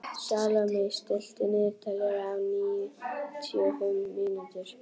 Salome, stilltu niðurteljara á níutíu og fimm mínútur.